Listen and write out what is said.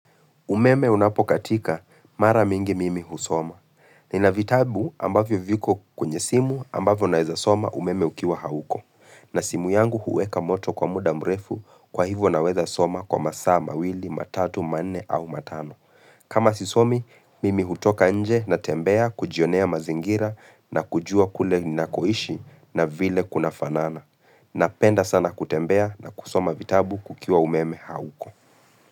Umeme unapokatika, mara mingi mimi husoma. Nina vitabu ambavyo viko kwenye simu ambavyo naweza soma umeme ukiwa hauko. Na simu yangu huweka moto kwa muda mrefu kwa hivyo naweza soma kwa masaa mawili, matatu, manne au matano. Kama sisomi, mimi hutoka nje na tembea kujionea mazingira na kujua kule ninakoishi na vile kuna fanana. Napenda sana kutembea na kusoma vitabu kukiwa umeme hauko.